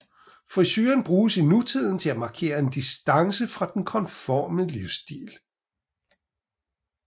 Frisuren bruges i nutiden til at markere en distance fra den konforme livsstil